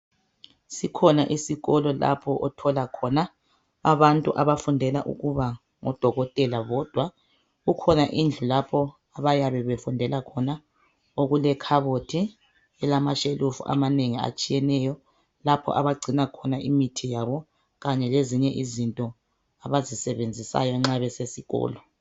Sikhona isikolo lapho otholakhona abantu abafundela ukuba ngodokotela bodwa. Kukhona indlu lapho abayabe befundela khona okulekhabothi elamashelufu abanengi atshiyeneyo lapho abagcina khona imithi yabo kanye lezinye izinto abazisebenzisayo nxa besesikolo.